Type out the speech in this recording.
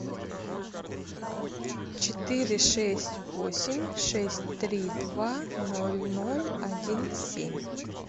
четыре шесть восемь шесть три два ноль ноль один семь